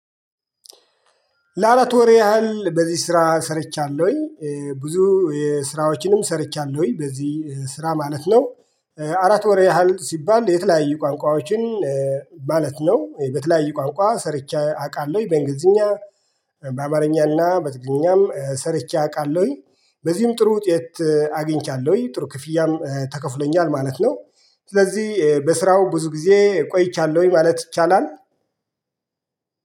ለአራት ወር ያህል በዚህ ስራ ሰርቻለሁኝ ብዙ የስራዎችንም ሰርቻለሁኝ በዚህ ስራ ማለት ነው። አራት ወር ያህል ሲባል የተለያየ ቋንቋዎችን። ማለት ነው በተለያዩ ቋንቋ ሰርቼ አቃለሁ በእንግሊዝኛ። በአማርኛና በትግልኛም ሰርቼ አቃለሁኝ በዚህም ጥሩ ውጤት አግኝቻለሁኝ ጥሩ ክፍያም ተከፍሎኛል ማለት ነው። ስለዚህ በስራው ብዙ ጊዜ ቆይቻለሁኝ ማለት ይቻላል።